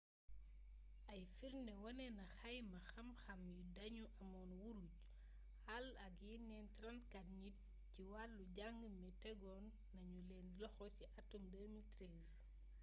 ay firndé wanena ni xayma xam-xam yi dañu amone wuruj hall ak yenen 34 njit ci walu jang mi tegon nañu len loxo ci atum 2013